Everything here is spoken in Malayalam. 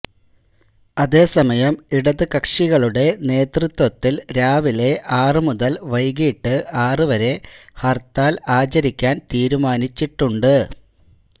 അതേസമയം ഇടത് കക്ഷികളുടെ നേതൃത്വത്തിൽ രാവിലെ ആറ് മുതൽ വൈകിട്ട് ആറ് വരെ ഹർത്താൽ ആചരിക്കാൻ തീരുമാനിച്ചട്ടുണ്ട്